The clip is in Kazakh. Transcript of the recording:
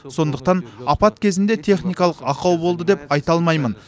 сондықтан апат кезінде техникалық ақау болды деп айта алмаймын